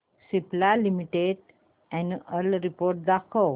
Cipla limited annual report दाखव